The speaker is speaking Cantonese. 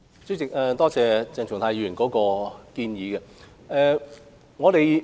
主席，多謝鄭松泰議員的建議。